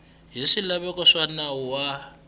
hi swilaveko swa nawu wa